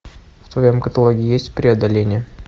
в твоем каталоге есть преодоление